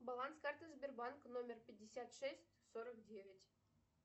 баланс карты сбербанка номер пятьдесят шесть сорок девять